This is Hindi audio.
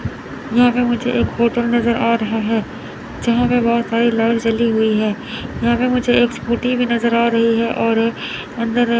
यहां पे मुझे एक होटल नजर आ रहा है यहां पे बहुत सारी लाइट जली हुई है यहां पे मुझे एक स्कूटी भी नजर आ रही है और अंदर--